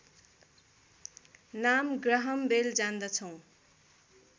नाम Graham Bell जान्दछौँ